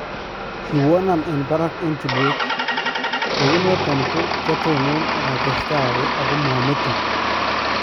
Kiwonaan en barak en tulweet . kou noton ko kyatonon akatestai awee ako mametoon.